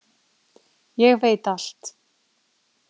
Ég veit allt.